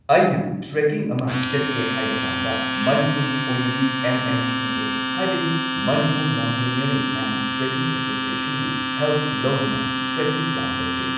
ꯑꯩꯅ ꯇ꯭ꯔꯦꯀꯤꯡ ꯑꯃ ꯆꯠꯀꯦ ꯍꯥꯏꯕ ꯀꯥꯟꯗ ꯃꯅꯤꯄꯨꯔꯒꯤ ꯑꯣꯏꯅꯗꯤ ꯑꯦꯝ ꯑꯦꯝ ꯇꯤ ꯑꯦ ꯍꯥꯏꯕꯗꯤ ꯃꯅꯤꯄꯨꯔ ꯃꯥꯎꯟꯇꯦꯅꯤꯌꯔꯤꯡ ꯑꯦꯟ ꯇ꯭ꯔꯦꯀꯤꯡ ꯑꯦꯁꯣꯁꯤꯌꯦꯁꯟꯒꯤ ꯍꯦꯜꯄ ꯂꯧꯗꯨꯅ ꯇ꯭ꯔꯦꯀꯤꯡ ꯄ꯭ꯂꯥꯟ ꯇꯧꯖꯩ